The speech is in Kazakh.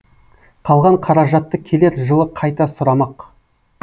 қалған қаражатты келер жылы қайта сұрамақ